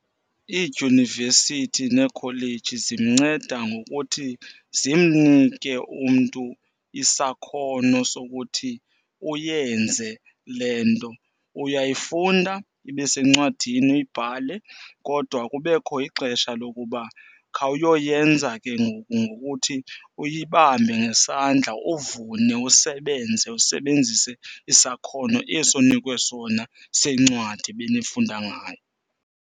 Iidyunivesithi neekholeji zimnceda ngokuthi zimnike umntu isakhono sokuthi uyenze le nto. Uyayifunda ibe sencwadini uyibhale kodwa kubekho ixesha lokuba khawuyoyenza ke ngoku ngokuthi uyibambe ngesandla. Uvune, usebenze usebenzise isakhono esi onikwe sona sencwadi benifunda ngayo.